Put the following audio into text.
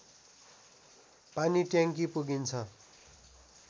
पानीट्याङ्की पुगिन्छ